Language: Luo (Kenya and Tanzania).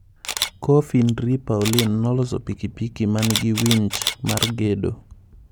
Koffi N'Dri Paulin noloso pikipiki manigi winch mar gedo